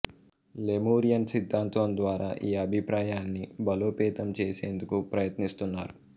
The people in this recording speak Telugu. లెమురియన్ సిద్ధాంతం ద్వారా ఈ అభిప్రాయాన్ని బలోపేతం చేసేందుకు ప్రయత్నిస్తున్నారు